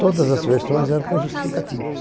Todas as versões eram com justificativos.